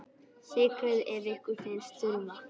Sykrið ef ykkur finnst þurfa.